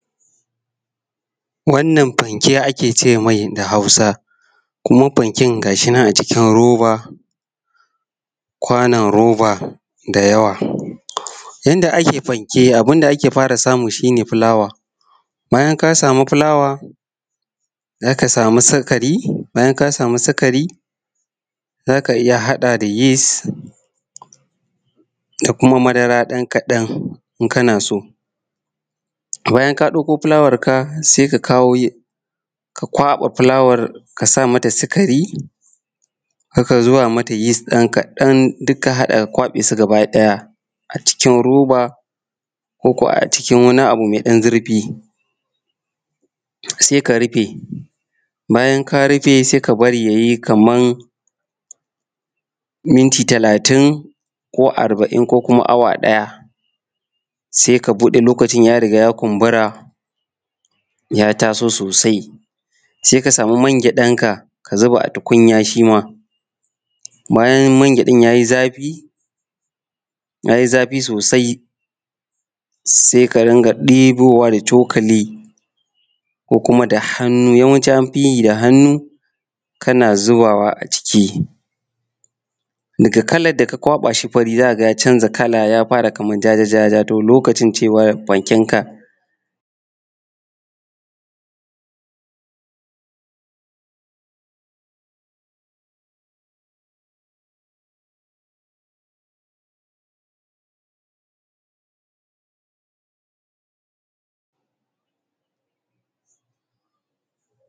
Wannan fanke ake ce mai da Hausa, kuma fanken ga shi na a cikin roba kwanon roba da yawa. Yadda ake fanke, abun da ake fara samu shine fulawa. Bayan ka samu fulawa, zaka samu sikari bayan ka samu sukari za ka iya haɗa da yis da kuma madara ɗan kaɗan in kana so. Bayan ka ɗauko fulawar ka sai ka kawo yi ka kwaɓa fulawar ka sa mata sikari, ka zuba mata yis ɗan kaɗan duk ka haɗa ka kwaɓe su gabaɗaya a cikin roba ko ko a cikin wani abu mai ɗan zurfi. Sai ka rufe, bayan ka rufe sai ka bari yayi kaman minti talatin ko arba’in ko kuma awa ɗaya, sai ka buɗe lokacin ya riga ya kunbura ya taso sosai. Sai ka samu mangyaɗan ka, ka zuba a tukunya shi ma bayan mangyaɗan yayi zafi, yayi zafi sosai sai ka rinƙa ɗibowa da cokali ko kuma da hannu, yawanci anfi yi da hannu kana zubawa a ciki. Daga kalar da ka kwaɓa shi fari za ka ga ya canza kala ya fara kaman jaja-jaja. To lokaci cewa fanken ka.